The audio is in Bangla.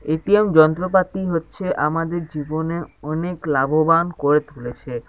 এ.টি.এম. যন্ত্রপাতি হচ্ছে আমাদের জীবনে অনেক লাভবান করে তুলেছে।